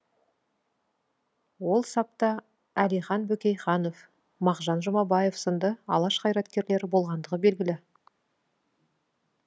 ол сапта әлихан бөкейханов мағжан жұмабаев сынды алаш қайраткерлері болғандығы белгілі